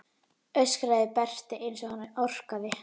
öskraði Berti eins og hann orkaði.